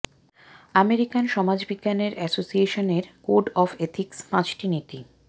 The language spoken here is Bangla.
আমেরিকান সমাজবিজ্ঞানের এসোসিয়েশন এর কোড অফ এথিক্স পাঁচটি নীতি